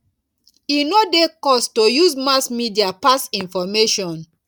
e no dey cost to use mass media pass information